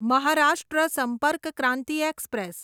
Maharashtra Sampark Kranti express